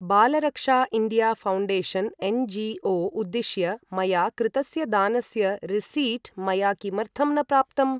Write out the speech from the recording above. Balraksha India foundation NGO. उद्दिश्य मया कृतस्य दानस्य रिसीट् मया किमर्थं न प्राप्तम्?